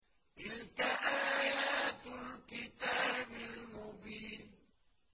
تِلْكَ آيَاتُ الْكِتَابِ الْمُبِينِ